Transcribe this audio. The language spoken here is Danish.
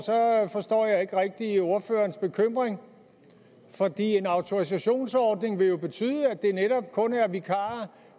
forstår jeg ikke rigtig ordførerens bekymring for en autorisationsordning vil jo betyde at det netop kun er vikarer